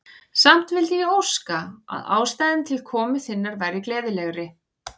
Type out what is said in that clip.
Samt vildi ég óska, að ástæðan til komu þinnar væri gleðilegri.